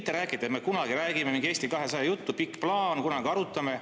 Ärge rääkige, et "me kunagi räägime", mingit Eesti 200 juttu, et "pikk plaan, kunagi arutame".